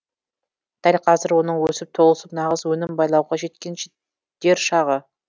дәл қазір оның өсіп толысып нағыз өнім байлауға жеткен дер шағы